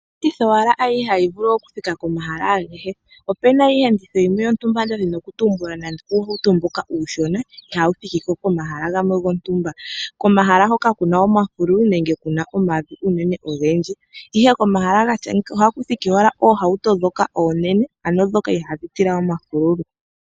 Hakehe iiyenditho hayi vulu oku thika komahala agehe. Opena iiyenditho yimwe yotumba mboka nda dhini oku tumbula nando uuhauto mboka uushona ihawu thikiko komahala gamwe gontumba. Komahala hoka kuna omafululu nenge kuna omavi unene ogendji ihe komahala ngaaka ohamu thiki owala oohauto dhoka onene ano dhoka ihadhi tila omafululu.